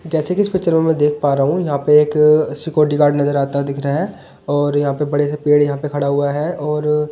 जैसे कि इस पिक्चर में मैं देख पा रहा हूं यहां पे एक सिक्योरिटी गार्ड नजर आता दिख रहा है और यहां पे बड़े से पेड़ यहां पे खड़ा हुआ है और --